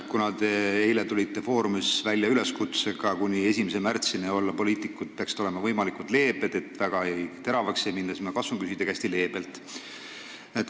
Kuna te tulite eilses "Foorumis" välja üleskutsega, et kuni 1. märtsini peaksid poliitikud olema võimalikult leebed, väga teravaks ei minda, siis ma katsungi küsida hästi leebelt.